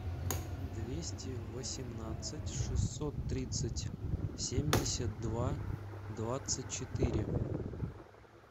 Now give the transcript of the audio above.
двести восемнадцать шестьсот тридцать семьдесят два двадцать четыре